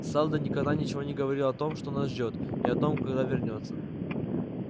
сэлдон никогда ничего не говорил о том что нас ждёт и о том когда вернётся